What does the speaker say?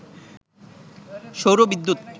সৌর বিদ্যুৎ